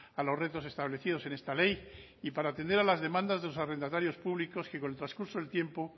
a los retos establecidos en esta ley y para atender a las demandas de los arrendatarios públicos que con el transcurso del tiempo